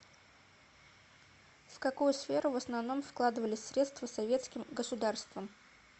в какую сферу в основном вкладывались средства советским государством